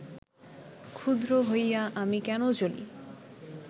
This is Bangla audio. ক্ষুদ্র হইয়া আমি কেন জ্বলি